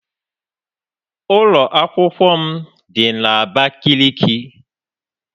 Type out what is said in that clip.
Ụlọ akwụkwọ m dị na Abakiliki